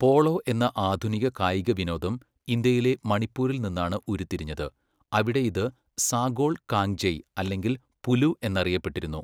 Polo എന്ന ആധുനിക കായിക വിനോദം ഇന്ത്യയിലെ മണിപ്പൂരിൽ നിന്നാണ് ഉരുത്തിരിഞ്ഞത്, അവിടെ ഇത് 'സാഗോൾ കാങ്ജെയ്' അല്ലെങ്കിൽ 'പുലു' എന്നറിയപ്പെട്ടിരുന്നു.